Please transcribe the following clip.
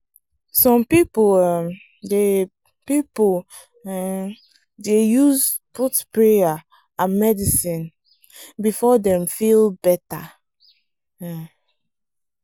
some people um dey people um dey use both prayer and medicine before dem feel better. um